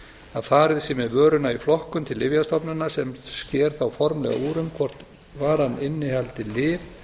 að farið sé með vöruna í flokkun til lyfjastofnunar sem sker formlega úr um hvort varan innihaldi lyf